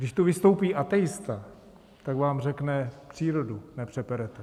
Když tu vystoupí ateista, tak vám řekne: Přírodu nepřeperete.